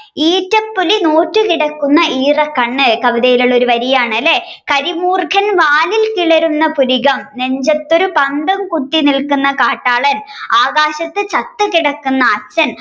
ഈറ്റപ്പുലി നോറ്റു കിടക്കും ഈറൻകണ്ണു കവിതയിൽ ഉള്ള ഒരു വഴിയാണല്ലേ കരിമൂർഖൻ വാലിൽ കിളരും പുരികം നെഞ്ചത്തൊരു പന്തം കുത്തി നിൽപ്പു കാട്ടാളൻ ആകാശത്തച്ഛൻ ചത്തുകിടപ്പതു അച്ഛൻ